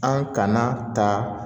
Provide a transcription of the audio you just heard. An kana ta